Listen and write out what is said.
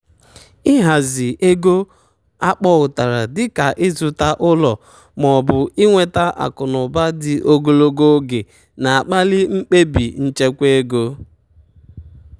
ịhazi ebumnuche ego akpọutara dịka ịzụta ụlọ maọbụ inweta akụnụba dị ogologo oge na-akpali mkpebi nchekwa ego.